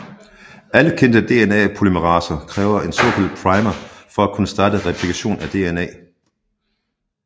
Alle kendte DNA polymeraser kræver en såkaldt primer for at kunne starte replikation af DNA